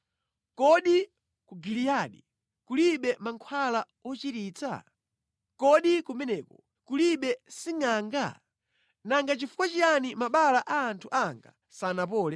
Kodi ku Giliyadi kulibe mankhwala ochiritsa? Kodi kumeneko kulibe singʼanga? Nanga chifukwa chiyani mabala a anthu anga sanapole?